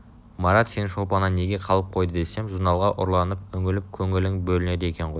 марат сені шолпаннан неге қалып қойды десем журналға ұрланып үңіліп көңілің бөлінеді екен ғой